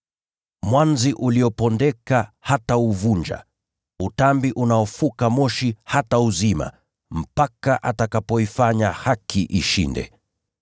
Mwanzi uliopondeka hatauvunja, na utambi unaofuka moshi hatauzima, mpaka atakapoifanya haki ishinde.